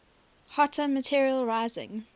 hotter material rising